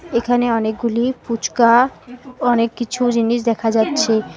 এখানে অনেকগুলি ফুচকা অনেক কিছু জিনিস দেখা যাচ্ছে।